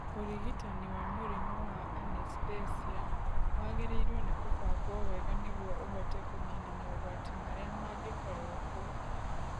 Ũrigitani wa mũrimũ wa anesthesia wagĩrĩiirwo nĩ kũbangwo wega nĩguo ũhote kũniina mogwati marĩa mangĩkorũo kuo.